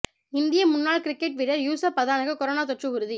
இந்திய முன்னாள் கிரிக்கெட் வீரர் யூசுப் பதானுக்கு கொரோனா தொற்று உறுதி